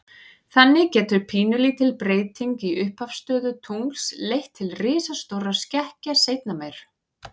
Þannig getur pínulítil breyting í upphafsstöðu tungls leitt til risastórra skekkja seinna meir.